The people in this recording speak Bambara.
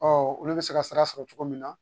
Ɔ olu bɛ se ka sara sɔrɔ cogo min na